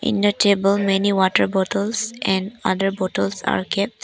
In the table many water bottles and other bottles are kept.